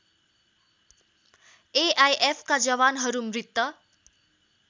एआइएफका जवानहरू मृत